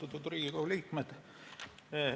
Austatud Riigikogu liikmed!